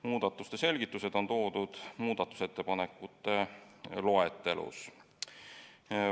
Muudatuste selgitused on esitatud muudatusettepanekute loetelus.